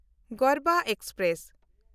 Garbha express